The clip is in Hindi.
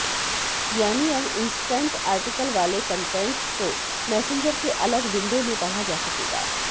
यानी अब इंस्टैंट आर्टिकल वाले कंटेंट्स को मैसेंजर के अलग विंडो में पढ़ा जा सकेगा